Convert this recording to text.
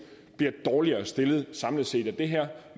bliver dårligere stillet samlet set